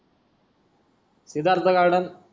Siddharth garden